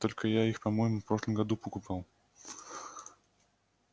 только я их по-моему в прошлом году покупал